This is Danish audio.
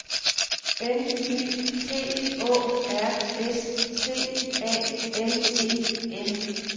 N Y T Å R S T A L E N